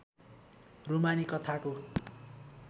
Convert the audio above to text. रूमानी कथाको